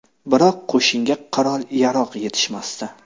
Biroq qo‘shinga qurol-yarog‘ yetishmasdi.